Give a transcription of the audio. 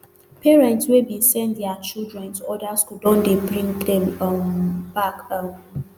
parents wey bin send dia children to oda schools don dey bring dem um back um